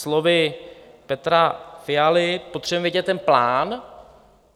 Slovy Petra Fialy, potřebujeme vědět ten plán.